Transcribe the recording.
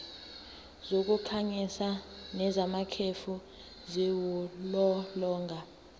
zokukhanyisa nezamakhefu ziwulolonga